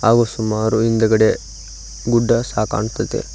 ಹಾಗು ಸುಮಾರು ಹಿಂದ್ಗಡೆ ಗುಡ್ಡ ಸಹ ಕಾಣ್ತದೆ.